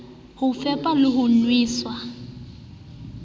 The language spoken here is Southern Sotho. ho fepa le ho nwesa